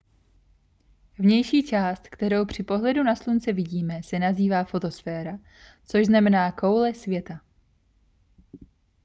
vnější část kterou při pohledu na slunce vidíme se nazývá fotosféra což znamená koule světla